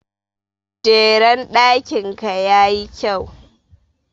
Jeren ɗakin ka ya yi kyau.